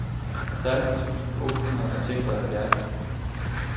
seksten tusind otte hundrede og seksoghalvfjerds